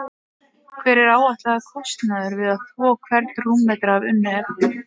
Hver er áætlaður kostnaður við að þvo hvern rúmmetra af unnu efni?